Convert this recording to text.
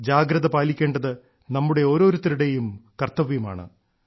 ജാഗ്രത പാലിക്കേണ്ടത് നമ്മുടെ ഓരോരുത്തരുടെയും കർത്തവ്യമാണ്